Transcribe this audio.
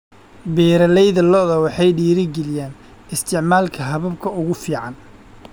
Beeralayda lo'da waxay dhiirigeliyaan isticmaalka hababka ugu fiican.